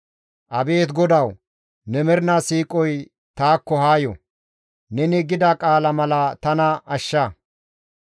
Abeet GODAWU! Ne mernaa siiqoy taakko haa yo; neni gida qaala mala tana ashsha.